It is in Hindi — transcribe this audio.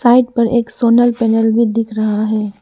साइड पर एक सोनल पैनल भी दिख रहा है।